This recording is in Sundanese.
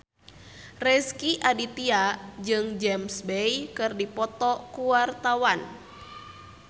Rezky Aditya jeung James Bay keur dipoto ku wartawan